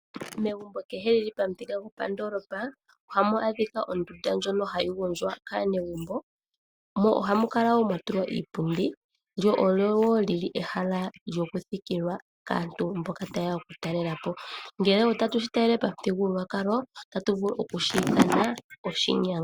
Megumbo kehe li li pamuthika gopandoolopa oha mu adhika ondunda ndjoka hamu gondjwa kaanegumbo. Oha mu kala mwa tulwa iipundi mo omo woo ha mu thikilwa kaayenda. Pamuthika gopashinanena oha yiithanwa oseti ihe pamuthigululwakalo oshinyanga.